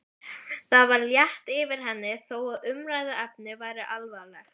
Það var létt yfir henni þó að umræðuefnið væri alvarlegt.